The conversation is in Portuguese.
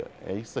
É isso